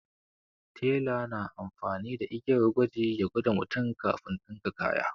Tela na amfani da igiyar gwaji ya gwada mutum kafin ɗinka kaya.